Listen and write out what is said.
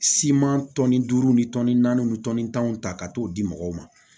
Siman tɔnni duuru ni tɔni naani ni tɔnni tanw ta ka t'o di mɔgɔw ma